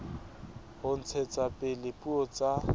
ho ntshetsa pele dipuo tsa